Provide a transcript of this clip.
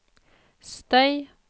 støy